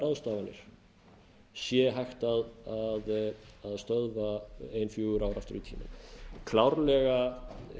hægt sé að stöðva óeðlilegar ráðstafanir ein fjögur ár aftur í tímann klárlega